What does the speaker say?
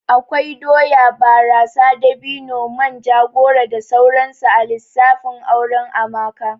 Akwai doya, barasa, dabino, manja, goro da sauransu a lissafin auren Amaka